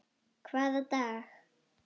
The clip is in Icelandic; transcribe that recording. Hvaða dag?